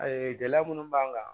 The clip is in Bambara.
gɛlɛya minnu b'an kan